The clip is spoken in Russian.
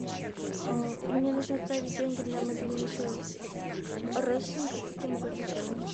мне нужно отправить деньги на мобильный счет родственнику как я могу это сделать